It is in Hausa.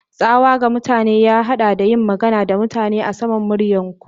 Tsawa ga mutane ya haɗa da yin magana da mutane a saman muryar ku.